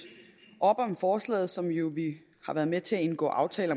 op om forslaget som vi jo har været med til at indgå aftale